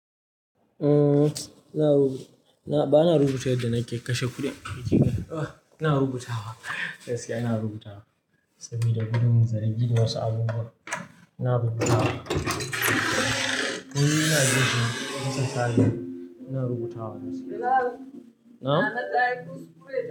Uhm, ba na rubuta yadda na ke kashe kuɗi. Eh, ina rubutawa, gaskiya ina rubutawa saboda gudun zargi da wasu abubuwa. Ina rubutawa. Komai ina rubutawa gaskiya. Na?